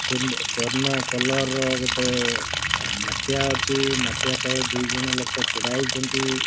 ସୁନ ସ୍ଵର୍ଣ୍ଣ କଲର୍ ର ଗୋଟେ ମାଠିଆ ଅଛି। ମାଟିଆ ତଳେ ଦୁଇ ଜଣ ଲୋକ ଛିଡ଼ା ହେଇଚନ୍ତି।